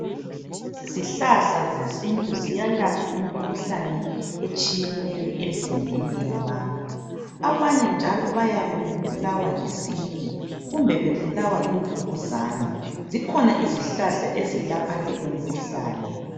izihlahla zesintu ziyalapha imikhuhlane etshiyeneyo emzimbeni yabantu abanye njalo bayabe bebulawa yisiki kumbe bebulawa yimvukuzane zikhona izihlahla ezilapha leyo mkhuhlane